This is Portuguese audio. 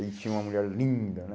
Aí tinha uma mulher linda, né?